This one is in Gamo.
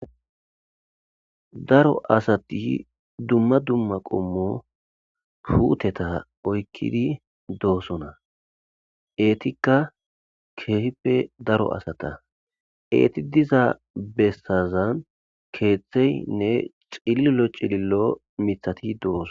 daro asati dumma dumma qommo puuteta oykkidi doosona eetikka keehippe daro asata eeti diza bessazan keeththeynne cililo cilillo mithati doosona